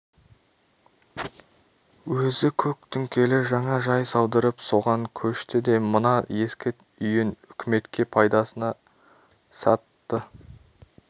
өзі көк түңкелі жаңа жай салдырып соған көшті де мына ескі үйін үкіметке пайдасына сатты